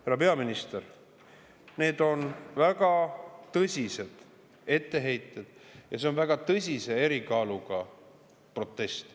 Härra peaminister, need on väga tõsiselt etteheited ja see on väga tõsise erikaaluga protest.